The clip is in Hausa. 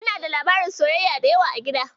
Ina da labaran soyayya da yawa a gida.